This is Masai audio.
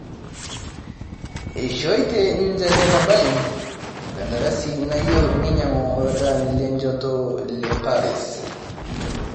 Eishootie ninje Hetha Balin enkandarasi naiyieu neinyang'u oladalani lonjot leparis